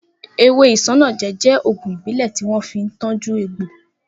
Ewé isanaje jẹ́ ògùn ìbílẹ̀ tí wọ́n fi ń tọju egbò